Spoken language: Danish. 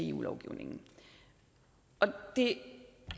eu lovgivningen det